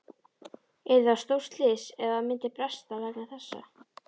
Yrði það stórslys ef að það myndi bresta vegna þessa?